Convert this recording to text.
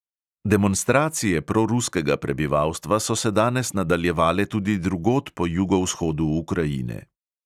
Demonstracije proruskega prebivalstva so se danes nadaljevale tudi drugod po jugovzhodu ukrajine.